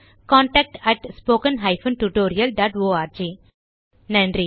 contact at spoken hyphen tutorial dot org நன்றி